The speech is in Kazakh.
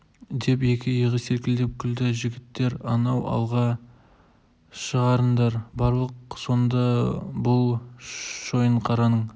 деп екі иығы селкілдеп күлді жігіттер анау алға шығарындар барлық сонда бұл шойынқараның